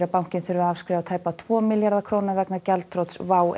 bankinn þurfi að afskrifa tæpa tvo milljarða vegna gjaldþrots WOW